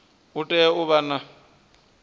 u tea u vha na